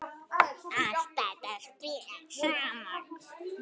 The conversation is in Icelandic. Allt þetta spilar saman.